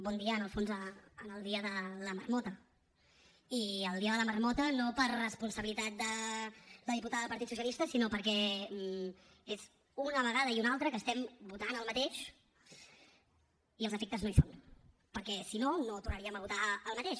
bon dia en el fons en el dia de la marmota i el dia de la marmota no per responsabilitat de la diputada del partit socialista sinó perquè és una vegada i una altra que votem el mateix i els efectes no hi són perquè si no no tornaríem a votar el mateix